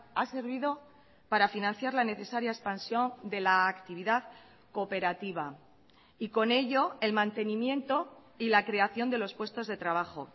ha servido para financiar la necesaria expansión de la actividad cooperativa y con ello el mantenimiento y la creación de los puestos de trabajo